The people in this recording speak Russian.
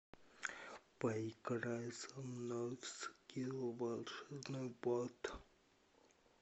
поиграй со мной в скилл волшебный бот